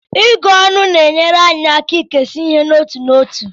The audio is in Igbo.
Ịgụ ọnụ na-enyere anyị aka ikesa ihe n'otu n'otu.